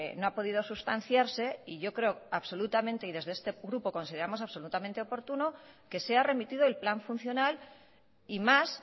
no ha podido sustanciarse y yo creo absolutamente y desde este grupo consideramos absolutamente oportuno que sea remitido el plan funcional y más